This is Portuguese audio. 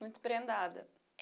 Muito prendada.